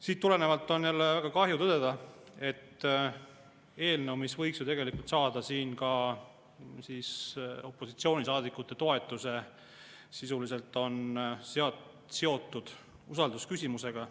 Siit tulenevalt on jälle väga kahju tõdeda, et eelnõu, mis võiks ju tegelikult saada siin ka opositsioonisaadikute toetuse, on seotud usaldusküsimusega.